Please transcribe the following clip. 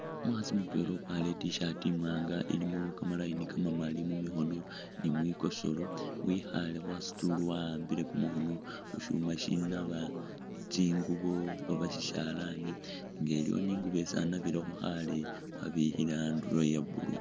Umukhaasi mutwela ukwalire i't-shirt imwaanga ilimo kama line kamamaali mumikhoono ni mwikosolo wikhale khasitool wawambile kumukhoono khushuma shinaaba tsingubo oba shishalani nga iliwo i'ngubo isi anabilekho khale wabikhile andulo iya blue